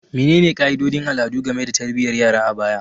Menene ka'idodin al'adu game da tarbiyyar yara a baya?